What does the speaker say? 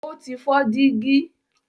ó ti fọ́ dígí.